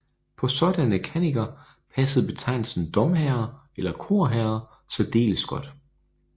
På sådanne kanniker passede betegnelsen domherrer eller korherrer særdeles godt